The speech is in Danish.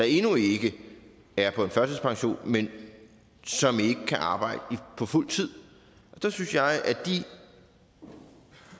endnu ikke er på en førtidspension men som ikke kan arbejde på fuld tid og der synes jeg at